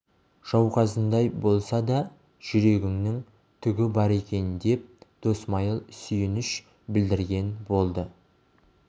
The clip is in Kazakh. жауқазындай болса да жүрегінің түгі бар екен деп досмайыл сүйініш білдірген болды